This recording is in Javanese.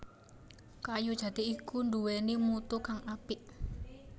Kayu jati iku nduwèni mutu kang apik